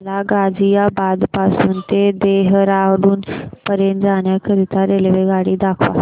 मला गाझियाबाद पासून ते देहराडून पर्यंत जाण्या करीता रेल्वेगाडी दाखवा